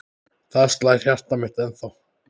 Þar slær hjartað mitt ennþá.